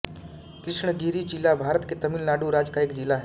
कृष्णगिरि ज़िला भारत के तमिल नाडु राज्य का एक ज़िला है